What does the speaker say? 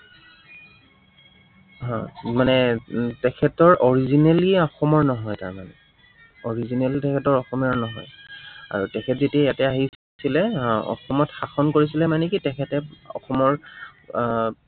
হম মানে তেখেতৰ originally অসমৰ নহয় তাৰমানে originally তেখেতৰ অসমীয়া নহয়। আৰু তেখেত যেতিয়া আহিছিলে, আহ অসমত শাসন কৰিছিলে মানে কি, তেখেতে অসমৰ আহ